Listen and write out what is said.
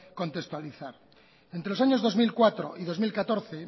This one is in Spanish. contextualizar entre los años dos mil cuatro y dos mil catorce